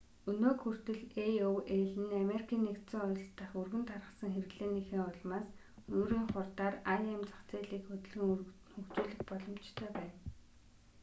өнөөг хүртэл aol нь америкийн нэгдсэн улс дахь өргөн тархсан хэрэглээнийхээ улмаас өөрийн хурдаар im зах зээлийг хөдөлгөн хөгжүүлэх боломжтой байна